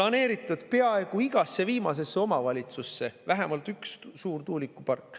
Eestis on peaaegu igasse kui viimasesse omavalitsusse planeeritud vähemalt üks suur tuulikupark.